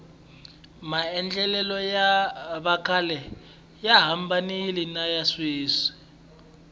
maendlelo ya vakhale ya hambanile niya sweswi